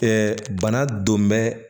bana donmɛ